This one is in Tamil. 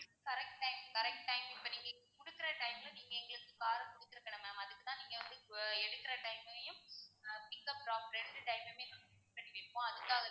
correct time correct time இப்போ இன்னைக்கு குடுக்குற time கு நீங்க எங்களுக்கு car அ குடுத்துருக்கணும் ma'am அதுக்கு தான் நீங்க வந்து எடுக்குற time மையும் ஆஹ் pickup drop ரெண்டு time மயுமே note பண்ணி வைப்போம் அதுக்காகத்தான்,